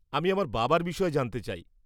আমি আমার বাবার বিষয়ে জানতে চাই।